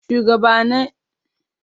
Shuwagabanni sun je su share dakin ma'aikata.